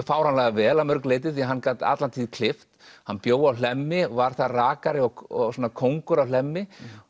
fáránlega vel að mörgu leyti því hann gat alla tíð klippt hann bjó á Hlemmi var þar rakari og svona kóngur á Hlemmi